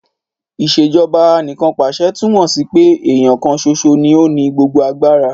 Ìṣèjọba Anìkanpàṣẹ túmọ̀ sí pé èèyàn kan ṣoṣo ní ó ní gbogbo agbára